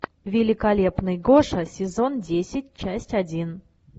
великолепный гоша сезон десять часть один